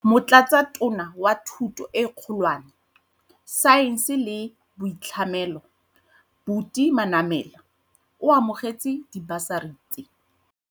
Motlatsatona wa Thuto e Kgolwane, Saense le Boitlhamelo, Buti Manamela, o amogetse dibasari tse.